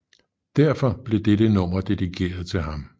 Derfor blev dette nummer dedikeret til ham